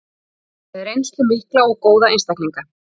Eru með reynslu mikla og góða einstaklinga.